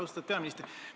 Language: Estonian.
Austatud peaminister!